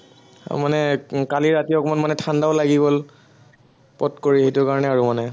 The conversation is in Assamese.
মানে উম কালি ৰাতি অকনমান মানে ঠাণ্ডাও লাগি গল, পট কৰি, সেইটো কাৰনে আৰু মানে